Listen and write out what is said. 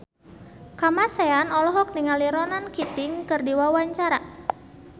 Kamasean olohok ningali Ronan Keating keur diwawancara